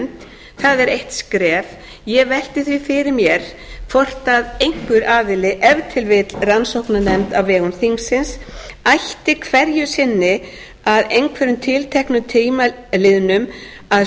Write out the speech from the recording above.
það er eitt skref ég velti því fyrir mér hvort einhver aðili ef til vill rannsóknarnefnd á vegum þingsins ætti hverju sinni að einhverjum tilteknum tíma liðnum að